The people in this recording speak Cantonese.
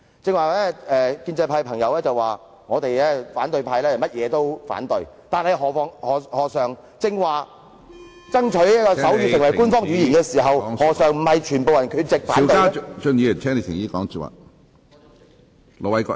剛才建制派同事指反對派議員最愛每事反對，但在剛才爭取手語成為官方語言時，他們何嘗不是全部缺席反對呢？